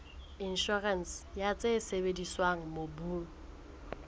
inshorense ya tse sebediswang mobung